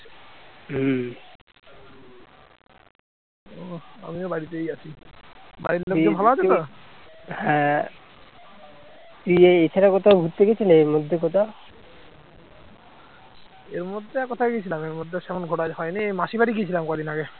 এর মধ্যে আর কোথায় গিয়েছিলাম এর মধ্যে সেরকম ঘোরা হয়নি মাসির বাড়ি গিয়েছিলাম কদিন আগে